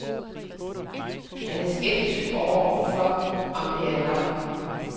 Men han er skeptisk overfor, om det er nok.